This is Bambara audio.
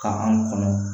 Ka anw kɔnɔ